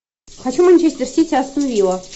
хочу манчестер сити астон вилла